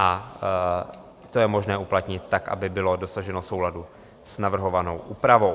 A to je možné uplatnit tak, aby bylo dosaženo souladu s navrhovanou úpravou.